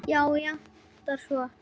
Og játað svo.